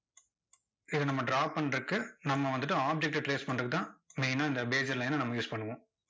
இதை நம்ம draw பண்றதுக்கு, நம்ம வந்துட்டு object ட trace பண்றதுக்கு தான் main னா இந்த bezier line ன நம்ம use பண்ணுவோம்.